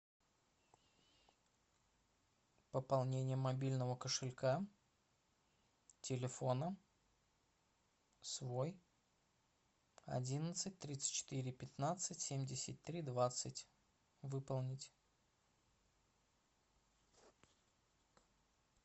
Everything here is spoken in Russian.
пополнение мобильного кошелька телефона свой одиннадцать тридцать четыре пятнадцать семьдесят три двадцать выполнить